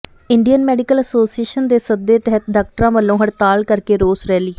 Indian Medical Association ਦੇ ਸੱਦੇ ਤਹਿਤ ਡਾਕਟਰਾਂ ਵੱਲੋਂ ਹੜਤਾਲ ਕਰਕੇ ਰੋਸ ਰੈਲੀ